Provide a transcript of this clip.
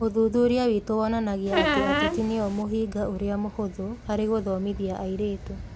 Ũthuthuria witũ wonanagia atĩ ateti nĩo mũhĩnga ũrĩa mũhũthũ harĩ gũthomithia airĩtu.